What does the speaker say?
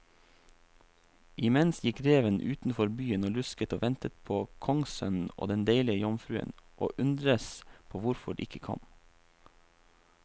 Imens gikk reven utenfor byen og lusket og ventet på kongssønnen og den deilige jomfruen, og undredes på hvorfor de ikke kom.